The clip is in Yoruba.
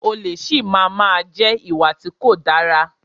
Olè si máa má jẹ́ ìwà tí kò dára.